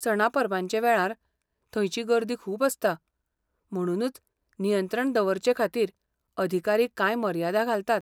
सणा परबांचे वेळार, थंयची गर्दी खूब आसता, म्हणूनच नियंत्रण दवरचेखातीर अधिकारी कांय मर्यादा घालतात.